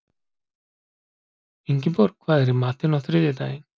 Ingiborg, hvað er í matinn á þriðjudaginn?